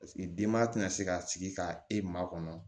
Paseke denba tɛ na se ka sigi ka e maa kɔnɔ